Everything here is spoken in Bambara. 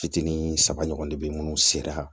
Fitinin saba ɲɔgɔn de be yen munnu sera